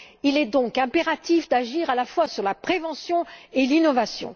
Il est donc impératif d'agir à la fois sur la prévention et l'innovation.